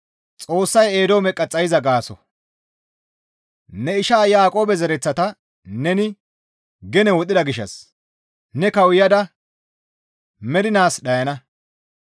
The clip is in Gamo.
«Ne isha Yaaqoobe zereththata neni gene wodhida gishshas ne kawuyada mernaas dhayana.